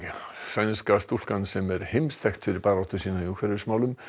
sænska stúlkan sem er heimsþekkt fyrir baráttu sína í umhverfismálum